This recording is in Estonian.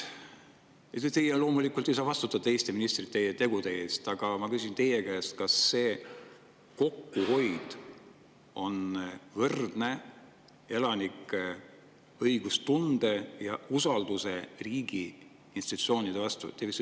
Teie loomulikult ei saa vastutada teiste ministrite tegude eest, aga ma küsin teie käest: kas see kokkuhoid elanike õigustunde usalduse riigi institutsioonide vastu?